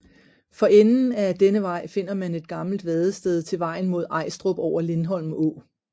For enden af denne vej finder man et gammelt vadested til vejen mod Ajstrup over Lindholm Å